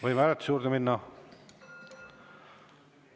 Võime hääletuse juurde minna?